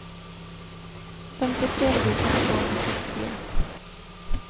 femtiotre tusen tvåhundrasjuttiofyra